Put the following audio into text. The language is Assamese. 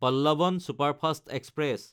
Pallavan superfast express